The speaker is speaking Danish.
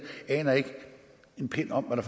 aner ikke en pind om